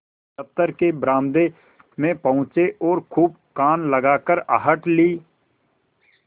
दफ्तर के बरामदे में पहुँचे और खूब कान लगाकर आहट ली